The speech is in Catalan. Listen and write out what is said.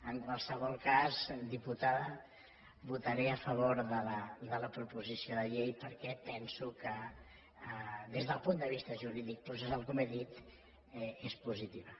en qualsevol cas diputada votaré a favor de la proposició de llei perquè penso que des del punt de vista jurídic processal com he dit és positiva